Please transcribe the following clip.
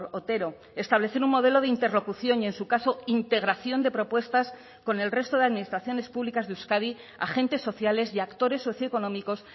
otero establecer un modelo de interlocución y en su caso integración de propuestas con el resto de administraciones públicas de euskadi agentes sociales y actores socioeconómicos